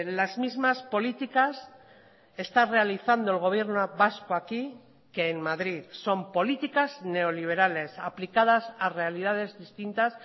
las mismas políticas está realizando el gobierno vasco aquí que en madrid son políticas neoliberales aplicadas a realidades distintas